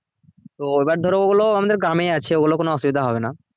তো এবার ধরো ওগুলো আমাদের গ্রামেই আছে ওগুলো কোনো অসুবিধা হবে না